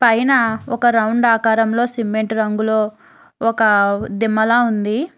పైన ఒక రౌండ్ అకారంలో సిమెంట్ రంగులో ఒక దిమ్మలా ఉంది.